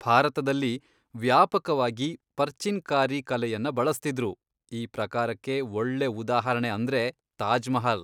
ಭಾರತದಲ್ಲಿ ವ್ಯಾಪಕವಾಗಿ ಪರ್ಚಿನ್ ಕಾರಿ ಕಲೆಯನ್ನ ಬಳಸ್ತಿದ್ರು, ಈ ಪ್ರಕಾರಕ್ಕೆ ಒಳ್ಳೆ ಉದಾಹರಣೆ ಅಂದ್ರೆ ತಾಜ್ ಮಹಲ್.